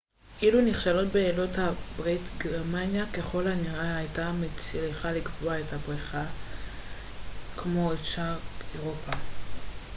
אילו נכשלו בעלות הברית גרמניה ככל הנראה הייתה מצליחה לכבוש את בריטניה כמו את שאר אירופה